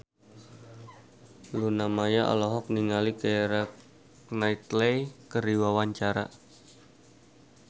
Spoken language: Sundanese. Luna Maya olohok ningali Keira Knightley keur diwawancara